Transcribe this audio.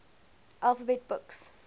alphabet books